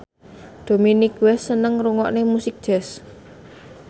Dominic West seneng ngrungokne musik jazz